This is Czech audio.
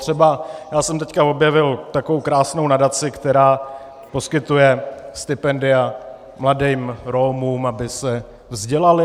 Třeba já jsem teď objevil takovou krásnou nadaci, která poskytuje stipendia mladým Romům, aby se vzdělali.